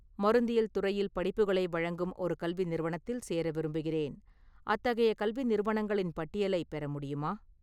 மருந்தியல் துறையில் படிப்புகளை வழங்கும் ஒரு கல்வி நிறுவனத்தில் சேர விரும்புகிறேன், அத்தகைய கல்வி நிறுவனங்களின் பட்டியலைப் பெற முடியுமா?